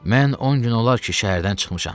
Mən on gün olar ki, şəhərdən çıxmışam.